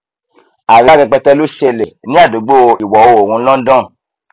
àríyá rẹpẹtẹ ló ṣẹlẹ ní àdúgbò ìwọoòrùn london